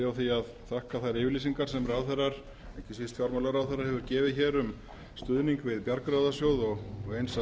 því að þakka þær yfirlýsingar sem ráðherrar ekki síst fjármálaráðherra hafa gefið um stuðning við bjargráðasjóð og eins að